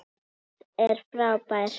Mads er frábær.